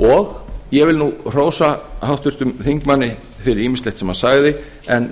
og ég vil nú hrósa háttvirtum þingmanni fyrir ýmislegt sem hann sagði en